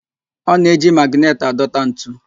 Ọ na-eji magịnetị adọta ntu